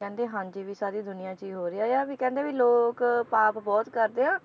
ਕਹਿੰਦੇ ਹਾਂਜੀ ਵੀ ਸਾਰੀ ਦੁਨੀਆਂ 'ਚ ਹੀ ਹੋ ਰਿਹਾ ਆ ਵੀ ਕਹਿੰਦੇ ਵੀ ਲੋਕ ਪਾਪ ਬਹੁਤ ਕਰਦੇ ਆ